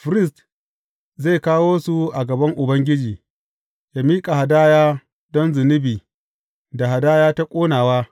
Firist zai kawo su a gaban Ubangiji, yă miƙa hadaya don zunubi da hadaya ta ƙonawa.